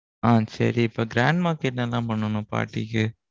ஆஹ் சரி இப்போ grandma க்கு என்னென்ன பண்ணனும் பாட்டிக்கு?